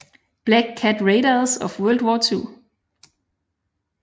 Black Cat Raiders of World War II